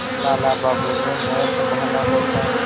लाला बाबू ने न सँभाला होता